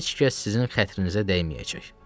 Heç kəs sizin xətrinizə dəyməyəcək.